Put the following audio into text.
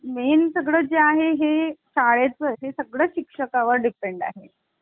main हे सगळे आहे शाळेत हे सगळं शिक्षकां वर depend